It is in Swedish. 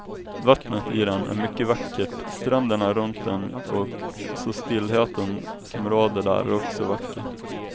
Vattnet i den är mycket vackert, stränderna runt den och så stillheten som råder där är också vacker.